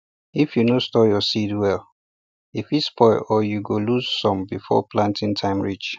if you no store your seeds well e fit spoil or you go lose some before planting time reach